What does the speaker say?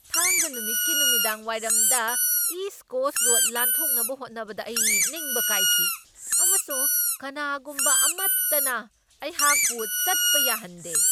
ꯊꯥꯡꯖꯥ ꯅꯨꯃꯤꯠꯀꯤ ꯅꯨꯃꯤꯗꯥꯡꯋꯥꯏꯔꯝꯗ ꯏꯁ ꯀꯣꯁꯠ ꯔꯣꯗ ꯂꯥꯟꯊꯣꯛꯅꯕ ꯍꯣꯠꯅꯕꯗ ꯑꯩ ꯅꯤꯡꯕ ꯀꯥꯏꯈꯤ ꯑꯃꯁꯨꯡ ꯀꯅꯥꯒꯨꯝꯕ ꯑꯃꯠꯇꯅ ꯑꯩꯍꯥꯛꯄꯨ ꯆꯠꯄ ꯌꯥꯍꯟꯗꯦ꯫